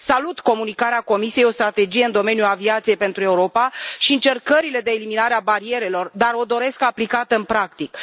Salut Comunicarea Comisiei intitulată O strategie în domeniul aviației pentru Europa și încercările de eliminare a barierelor, dar o doresc aplicată în practică.